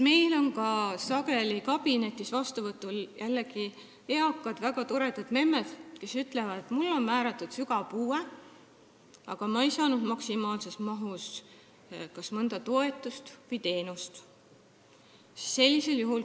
Meil on sageli kabinetis vastuvõtul eakad, väga toredad memmed, kes ütlevad, et neile on määratud sügav puue, aga nad ei ole saanud maksimaalses mahus kas mõnda toetust või teenust.